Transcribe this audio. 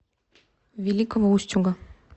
великого устюга